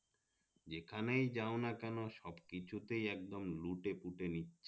যেখানেই যাওনা কেন সবকিছুতেই একদম লুটে পুঁটে নিচ্ছে